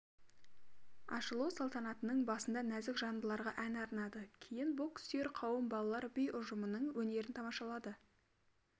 ашылу салтанатының басында нәзік жандыларға ән арнады кейін бокссүйер қауым балалар би ұжымының өнерін тамашалады